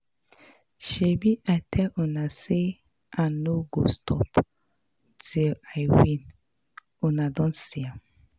Shebi I tell una say I no go stop till I win, una don see am